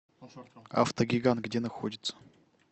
автогигант где находится